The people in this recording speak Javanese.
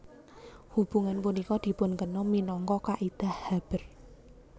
Hubungan punika dipunkenal minangka kaidah Haber